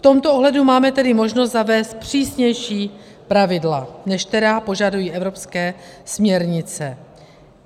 V tomto ohledu máme tedy možnost zavést přísnější pravidla, než která požadují evropské směrnice.